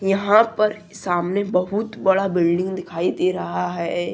यहां पर सामने बहुत बड़ा बिल्डिंग दिखाई दे रहा है।